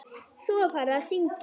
Svo var farið að syngja.